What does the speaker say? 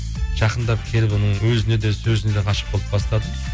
жақындап келіп оның өзіне де сөзіне де ғашық болып бастадым